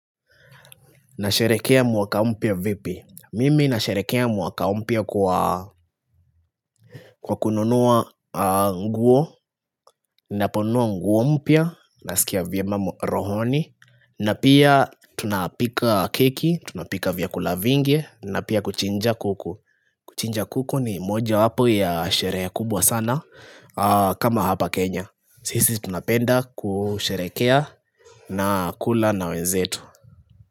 Nasherehekea mwaka mpya vipi. Mimi nasherehekea mwaka mpya kwa kununua nguo, naponunua nguo mpya, nasikia vyema rohoni, na pia tunapika keki, tunapika vyakula vingi, na pia kuchinja kuku. Kuchinja kuku ni mojawapo ya sherehe kubwa sana, kama hapa Kenya. Sisi tunapenda kusherehekea na kula na wenzetu.